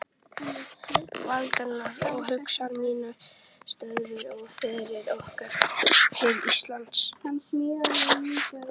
Valdimar, og hugsanir mínar stöðvuðust við ferð okkar til Íslands.